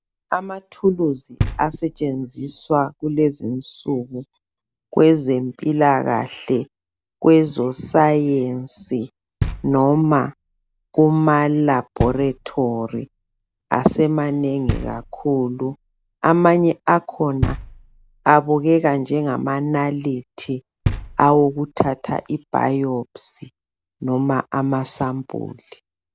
Amathulusi asetshenziswa lez'insuku kwezemphilakahle kwezosayetsi noma kumalabholitholi asemanengi kakhulu. Amanye akhona abukeka njengamanalithi awokuthatha ibhayiphusi noma amasambuli.